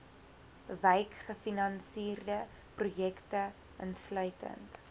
wykgefinansierde projekte insluitend